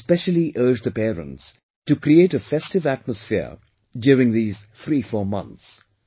And I especially urge the parents to create a festive atmosphere during these 34 months